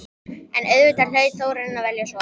En auðvitað hlaut Þórarinn að velja svo.